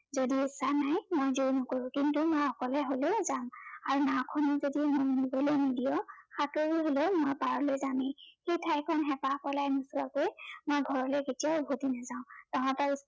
যদি ইচ্ছা নাই মই জোৰ নকৰো। কিন্তু মই অকলে হলেও যাম। আৰু নাঁৱখনো যদি মোক নিবলৈ নিদিয় সাঁতুৰি হলেও মই পাৰলৈ যামেই। সেই ঠাইখন হেঁপাহ পলোৱাই নোচোৱাকৈ মই ঘৰলৈ কেতিয়াও উভটি নাযাওঁ। তহঁতৰ